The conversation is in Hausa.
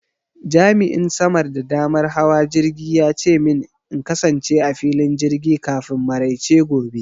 Jami'in samar da damar hawa jirgi ya ce min in kasance a filin jirgi kafin maraice gobe.